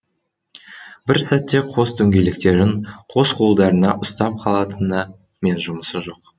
бір сәтте қос дөңгелектерін қос қолдарына ұстап қалатыны мен жұмысы жоқ